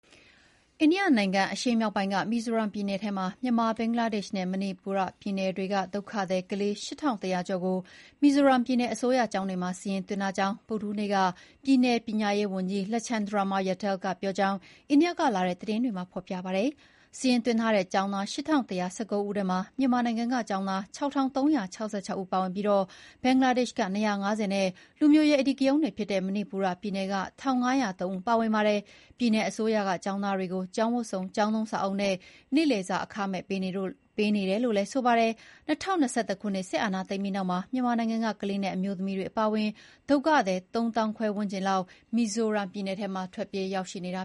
အိန္ဒိယနိုင်ငံအရှေ့မြောက်ပိုင်း မီဇိုရမ်ပြည်နယ်ထဲမှာ မြန်မာ၊ ဘင်္ဂလားဒေ့ရှ်နဲ့ မဏိပူပြည်နယ်တွေက ဒုက္ခသည်ကလေး ၈,၁၀၀ ကျော်ကို မီဇိုရမ်ပြည်နယ် အစိုးရကျောင်းတွေမှာ စာရင်းသွင်းထားကြောင်း ဗုဒ္ဓဟူးနေ့က ပြည်နယ်ပညာရေးဝန်ကြီး Lalchhandama Ralte က ပြောကြောင်း အိန္ဒိယကလာတဲ့ သတင်းတွေမှာ ဖော်ပြကြပါတယ်။ စာရင်းသွင်းထားတဲ့ ကျောင်းသား ၈,၁၁၉ ဦးထဲမှာ မြန်မာနိုင်ငံက ကျောင်းသား ၆,၃၆၆ ဦး ပါဝင်ပြီး ဘင်္ဂလားဒေ့ရှ်က ၂၅၀ ဦးနဲ့ လူမျိုးရေးအဓိကရုဏ်းတွေ ဖြစ်နေတဲ့ မဏိပူပြည်နယ်က ၁,၅၀၃ ဦး ပါဝင်ပါတယ်။ ပြည်နယ်အစိုးရက ကျောင်းသားတွေကို ကျောင်းဝတ်စုံ၊ ကျောင်းသုံးစာအုပ်နဲ့ နေ့လယ်စာအခမဲ့ပေးနေတယ်လို့ ဆိုပါတယ်။ ၂၀၂၁ ခုနှစ် စစ်အာဏာသိမ်းပြီးနောက်မှာ မြန်မာနိုင်ငံက ကလေးနဲ့ အမျိုးသမီးတွေ အပါအဝင် ဒုက္ခသည် ၃၅,၀၀၀ ဝန်းကျင်လောက်ဟာ မီဇိုရမ်ပြည်နယ်ထဲမှာ ထွက်ပြေးရောက်ရှိနေတာ